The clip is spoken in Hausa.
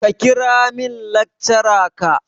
Ka kira min lecturer ka.